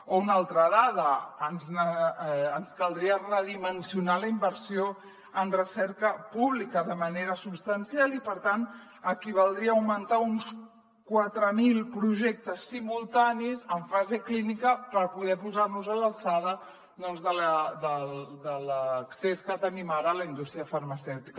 o una altra dada ens caldria redimensionar la inversió en recerca pública de manera substancial i per tant equivaldria a augmentar uns quatre mil projectes simultanis en fase clínica per poder posar nos a l’alçada doncs de l’accés que tenim ara a la indústria farmacèutica